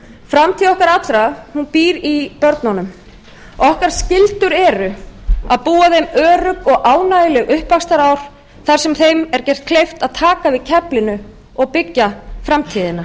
framtíð okkar allra býr í börnunum okkar skyldur eru að búa þeim örugg og ánægjuleg uppvaxtarár þar sem þeim er gert kleift að taka við keflinu og byggja framtíðina